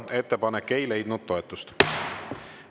Ettepanek ei leidnud toetust.